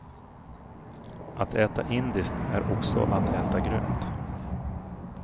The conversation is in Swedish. Att äta indiskt är också att äta grönt.